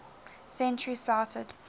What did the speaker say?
century started